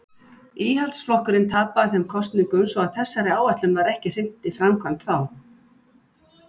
Íhaldsflokkurinn tapaði þeim kosningum svo að þessari áætlun var ekki hrint í framkvæmd þá.